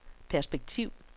perspektiv